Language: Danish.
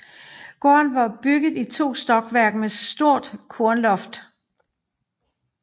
Gården var bygget i to stokværk med stort kornloft